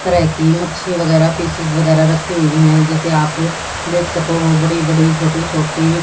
हर तरह की मच्छी वगैरा फीसिस फ़िशेस वगैरा रखी हुई है जैसे आप देख सको बड़ी बड़ी छोटी छोटी--